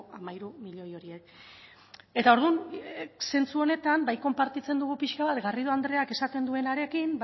hamairu milioi horiek eta orduan zentzu honetan bai konpartitzen dugu pixka bat garrido andreak esaten duenarekin